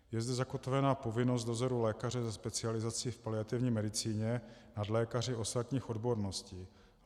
Je zde zakotvena povinnost dozoru lékaře se specializací v paliativní medicíně nad lékaři ostatních odborností.